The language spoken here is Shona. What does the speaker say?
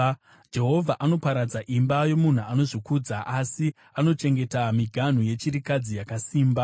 Jehovha anoparadza imba yomunhu anozvikudza, asi agochengeta miganhu yechirikadzi yakasimba.